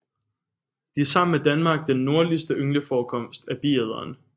De er sammen med Danmark den nordligste yngleforekomst af biæderen